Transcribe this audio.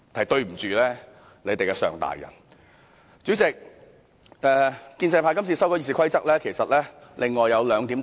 代理主席，建制派今次修改《議事規則》還有另外兩個特色。